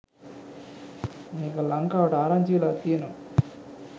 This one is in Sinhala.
මේක ලංකා‍වට ආරංචි වෙලා තියෙනවා.